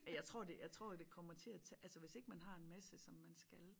Men jeg tror det jeg tror det kommer til at tage altså hvis ikke man har en masse som man skal